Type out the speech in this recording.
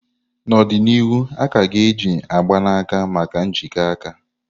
N'ọdịnihu, a ka ga-eji mgbanaka maka njikọ aka.